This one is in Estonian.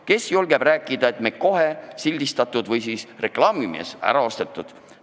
Kes julgeb rääkida, on kohe sildistatud, näiteks süüdistusega, et reklaamimees on ta ära ostnud.